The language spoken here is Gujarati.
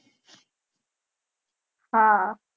હા